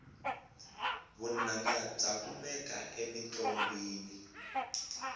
vunanga bya kumeka emintlongwini